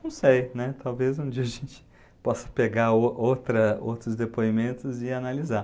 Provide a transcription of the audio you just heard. Não sei, né, talvez um dia a gente possa pegar o outra outros depoimentos e analisar.